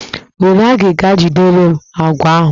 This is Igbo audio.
Were agịga jidere m àkwá ahụ!